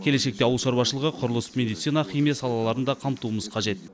келешекте ауыл шаруашылығы құрылыс медицина химия салаларын да қамтуымыз қажет